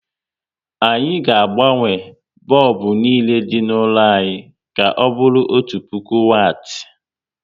Anyị ga agbanwe bọlbụ niile dị n'ụlọ anyị ka ọbụrụ otu puku wati